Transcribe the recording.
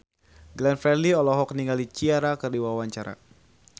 Glenn Fredly olohok ningali Ciara keur diwawancara